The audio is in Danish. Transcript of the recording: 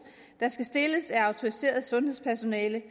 der skal stilles af et autoriseret sundhedspersonale